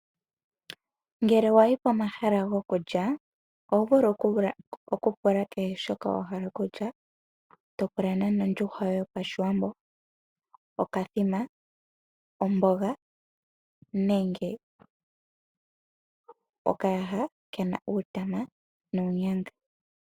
Ngele wayi pomahala gokulya ohovulu okupula kehe shoka wahala okulya, topula ondjuhwa yoye yopaShiwambo, okathima, omboga nenge okayaha kena uutama nuunyanga.